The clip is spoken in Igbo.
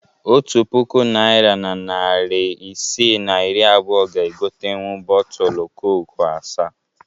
Otu puku naịra na narị isii na iri abụọ ga egotenwu bọọtulu koku asaa